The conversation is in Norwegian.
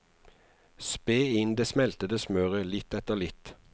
Spe inn det smeltede smøret litt etter litt.